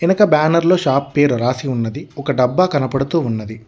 వెనుక బ్యానర్లో షాప్ పేరు రాసి ఉన్నది ఒక డబ్బా కనపడుతూ ఉన్నది.